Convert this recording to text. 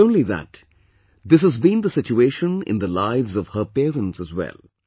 Not only that, this has been the situation in the lives of her parents as well